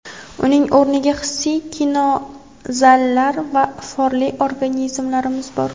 Uning o‘rniga hissiy kinozallar va iforli organlarimiz bor.